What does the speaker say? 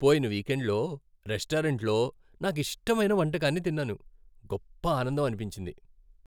పోయిన వీకెండ్లో రెస్టారెంట్లో నాకిష్టమైన వంటకాన్ని తిన్నాను, గొప్ప ఆనందం అనిపించింది.